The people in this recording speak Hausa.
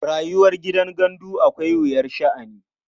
Rayuwar gidan gandu akwai wuyar sha'ani.